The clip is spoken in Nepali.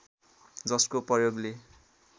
जसको प्रयोगले